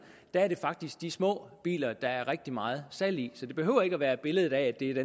er det faktisk de små biler der er rigtig meget salg i så det behøver ikke at være billedet af